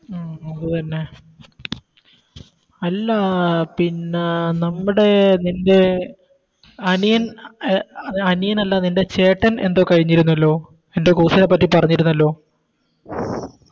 ഉം അത് തന്നെ അല്ലാ പിന്നെ നമ്മുടെ നിൻറെ അനിയൻ അനിയൻ അല്ല നിൻറെ ചേട്ടൻ എന്തോ കഴിഞ്ഞിരുന്നല്ലോ എന്തോ Course നെ പറ്റി പറഞ്ഞിരുന്നല്ലോ